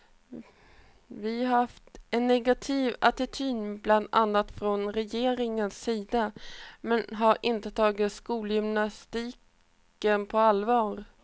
Vi har haft en negativ attityd bland annat från regeringens sida, man har inte tagit skolgymnastiken på allvar.